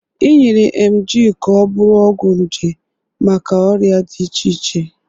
Enyere Emgyl ka ọ bụrụ ọgwụ nje maka ọrịa dị iche iche.